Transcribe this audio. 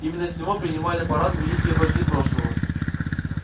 именно с него принимали парады великие вожди прошлого